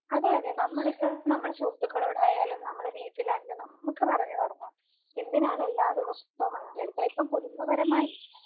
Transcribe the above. അതെ അതെ നമ്മളിപ്പോൾ നമ്മുടെ സുഹൃത്തുക്കളോടായാലും നമ്മുടെ വീട്ടിലാണേലും നമുക്ക് പറഞ്ഞു തുടങ്ങാം എന്തിനാണ് എല്ലാ ദിവസവും വണ്ടി എടുക്കണെ? ഇപ്പൊ കുടുംബപരമായി